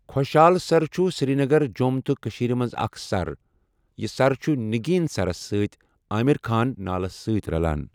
خۄشحال سَر چھُ سِریٖنَگَر، جۆم تہٕ کٔشیٖر مَنٛز اَكھ سَر یہِ سَر چھُ نِگیٖن سَرَس سٟتؠ آمِر خان نالہٕ سٟتؠ رَلان۔